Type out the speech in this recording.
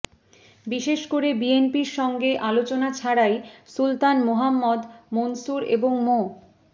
বিশেষ করে বিএনপির সঙ্গে আলোচনা ছাড়াই সুলতান মোহাম্মদ মনসুর এবং মো